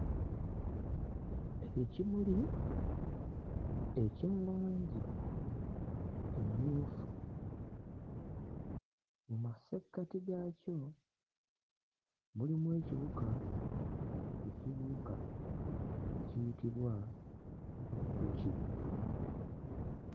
Ekimuli ekya langi emmyufu. Mu massekkati gaakyo mulimu ekiwuka ekibuuka ekiyitibwa enjuki.